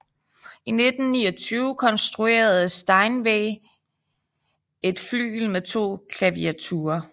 I 1929 konstruerede Steinway et flygel med to klaviaturer